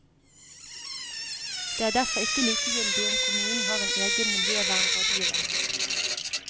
Det er derfor ikke likegyldig om kommunen har en egen miljøvernrådgiver.